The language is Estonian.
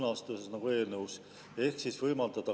Nad ostavad või lasevad oma rakkudest teistel neile lapsi valmistada.